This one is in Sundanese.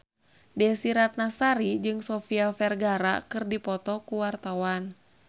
Desy Ratnasari jeung Sofia Vergara keur dipoto ku wartawan